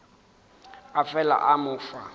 a fela a mo fa